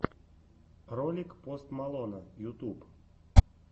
ролик пост малона ютуб